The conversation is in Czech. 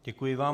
Děkuji vám.